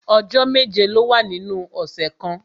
Ọjọ́ méje ló wà nínú ọ̀sẹ̀ kan